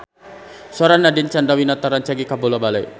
Sora Nadine Chandrawinata rancage kabula-bale